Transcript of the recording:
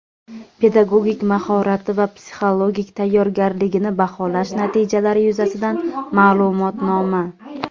pedagogik mahorati va psixologik tayyorgarligini baholash natijalari yuzasidan ma’lumotnoma.